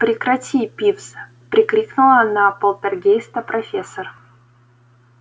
прекрати пивз прикрикнула на полтергейста профессор